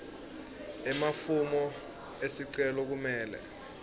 emafomu esicelo kumele